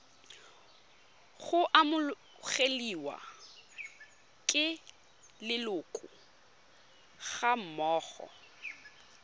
go amogelwa ke leloko gammogo